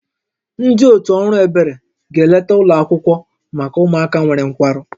Ndị otu ọrụ ebere ga-eleta ụlọ akwụkwọ maka ụmụaka nwere nkwarụ